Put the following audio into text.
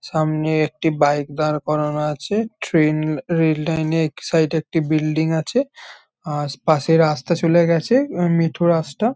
সামনে একটি বাইক দাঁড় করানো আছে ট্রেন রেল লাইন -এ এক সাইড এ একটি বিল্ডিং আছে আর পাশে রাস্তা চলে গেছে উম মেঠো রাস্তা।